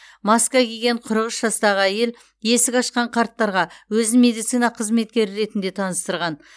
маска киген қырық үш жастағы әйел есік ашқан қарттарға өзін медицина қызметкері ретінде таныстырған